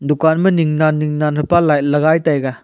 dukan ma Ning nan Ning nan hapa light lah taiga.